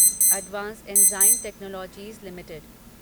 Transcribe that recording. advanced enzyme technologies limited